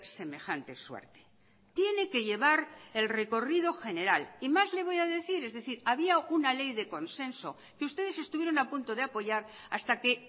semejante suerte tiene que llevar el recorrido general y más le voy a decir es decir había una ley de consenso que ustedes estuvieron a punto de apoyar hasta que